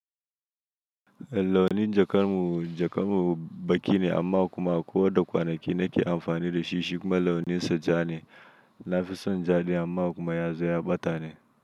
Launin jakar mu, jakar mu baƙi ne amma kuma akwai wanda kwanaki na ke amfani da shi, shi kuma launin sa ja ne. Na fi son jaɗi amma kuma ya zo ya ɓata ne.